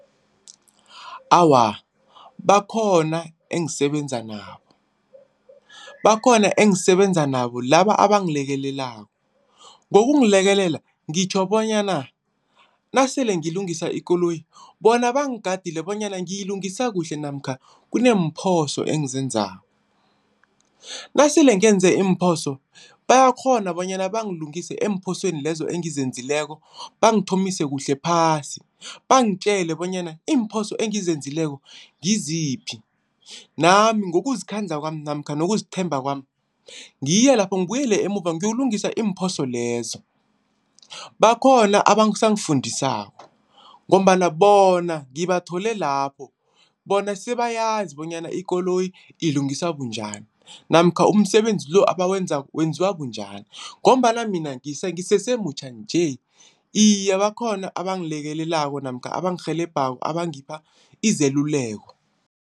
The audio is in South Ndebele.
Awa, bakhona engisebenza nabo, bakhona engisebenza nabo, laba abangilekelelako. Ngokungilekelela ngitjho bonyana nasele ngilungisa ikoloyi bona bangigadile bonyana ngiyilungisa kuhle namkha kuneemphoso engizenzako. Nasele ngenze iimphoso bayakghona bonyana bangilungise eemphosweni lezo engizenzileko. Bangithomise kuhle phasi bangitjele bonyana iimphoso engizenzileko ngiziphi, nami ngokuzikhandla kwami namkha ngokuzithemba kwami ngiye lapho ngibuyele emuva ngiyokulungisa iimphoso lezo. Bakhona abasangifundisako ngombana bona ngibathole lapho bona sebayazi bonyana ikoloyi ilungiswa bunjani namkha umsebenzi lo abawenzako wenziwa bunjani ngombana mina ngisese mutjha nje. Iye, bakhona abangilekelelako namkha abangirhelebhako abangipha izeluleko.